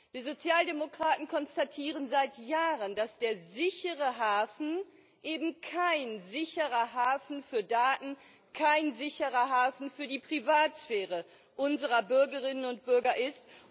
Wir Sozialdemokraten konstatieren seit Jahren, dass der sichere Hafen eben kein sicherer Hafen für Daten, kein sicherer Hafen für die Privatsphäre unserer Bürgerinnen und Bürger ist.